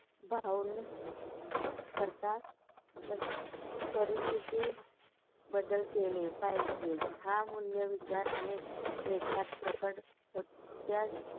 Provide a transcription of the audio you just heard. करीता परिस्तिथी बदल केले पाहिजे. हा मूल्य, विचार आणि लेखात प्रकार त्या